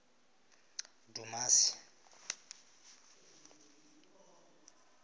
dumasi